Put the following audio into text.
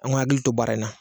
Anw kan hakili to baara in na.